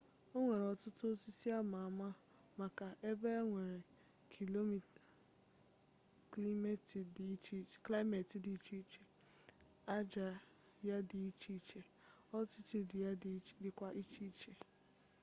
onwere otutu osisi ama ama maka ebea nwere klimeti di icheiche aja ya di iche iche altitude ya dikwa iche n'iche